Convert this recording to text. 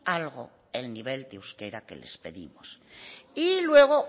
algo el nivel de euskera que les pedimos y luego